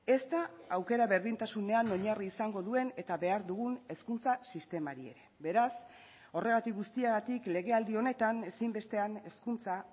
ez da aukera berdintasunean oinarri izango duen eta behar dugun hezkuntza sistemari ere beraz horregatik guztiagatik legealdi honetan ezinbestean hezkuntza